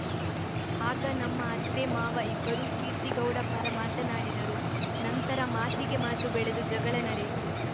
ಆಗ ನಮ್ಮ ಅತ್ತೆ ಮಾವ ಇಬ್ಬರೂ ಕೀರ್ತಿಗೌಡ ಪರ ಮಾತನಾಡಿದರು ನಂತರ ಮಾತಿಗೆ ಮಾತು ಬೆಳೆದು ಜಗಳ ನಡೆಯಿತು